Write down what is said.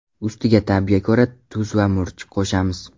Ustiga ta’bga ko‘ra tuz va murch qo‘shamiz.